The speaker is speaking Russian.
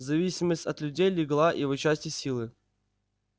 зависимость от людей легла его части силы